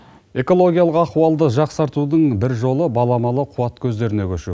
экологиялық ахуалды жақсартудың бір жолы баламалы қуат көздеріне көшу